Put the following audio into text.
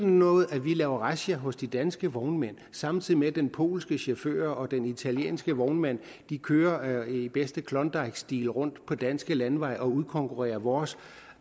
noget at vi laver razzia hos de danske vognmænd samtidig med at den polske chauffør og den italienske vognmand kører i bedste klondikestil rundt på danske landeveje og udkonkurrerer vores